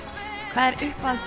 hvað er uppáhalds